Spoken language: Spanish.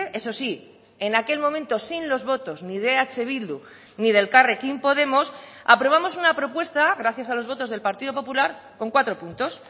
eso sí en aquel momento sin los votos ni de eh bildu ni de elkarrekin podemos aprobamos una propuesta gracias a los votos del partido popular con cuatro puntos